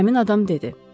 Həmin adam dedi: